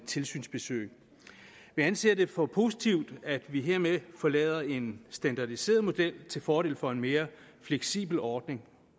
tilsynsbesøg vi anser det for positivt at vi hermed forlader en standardiseret model til fordel for en mere fleksibel ordning